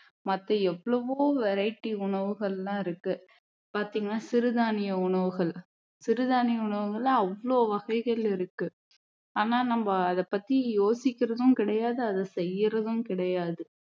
மத்த எவ்வளவோ variety உணவுகள் எல்லாம் இருக்கு பாத்தீங்களா சிறுதானிய உணவுகள் சிறுதானிய உணவுகளில அவ்வளவு வகைகள் இருக்கு ஆனா நம்ம அதை பத்தி யோசிக்கிறதும் கிடையாது அதை செய்யுறதும் கிடையாது